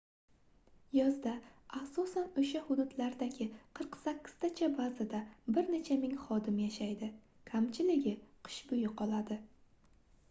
yozda asosan oʻsha hududlardagi qirq sakkiztacha bazada bir necha ming xodim yashaydi kamchiligi qish boʻyi qoladi